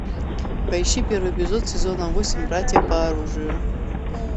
поищи первый эпизод сезона восемь братья по оружию